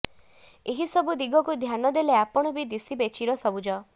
ଏହି ସବୁ ଦିଗକୁ ଧ୍ୟାନ ଦେଲେ ଆପଣ ବି ଦିଶିବେ ଚିର ସବୁଜ